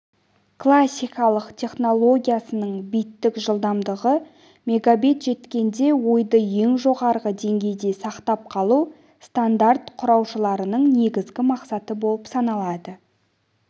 классикалық технологиясының биттік жылдамдығы мегабит жеткенде ойды ең жоғарғы деңгейде сақтап қалу стандарт құраушыларының негізгі мақсаты болып саналады